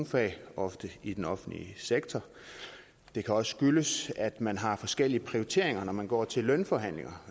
fag ofte i den offentlige sektor det kan også skyldes at man har forskellige prioriteringer når man går til lønforhandlinger